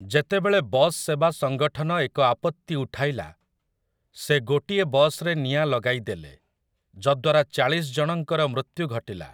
ଯେତେବେଳେ ବସ୍ ସେବା ସଙ୍ଗଠନ ଏକ ଆପତ୍ତି ଉଠାଇଲା, ସେ ଗୋଟିଏ ବସ୍‌ରେ ନିଆଁ ଲଗାଇ ଦେଲେ, ଯଦ୍ୱାରା ଚାଳିଶ ଜଣଙ୍କର ମୃତ୍ୟୁ ଘଟିଲା ।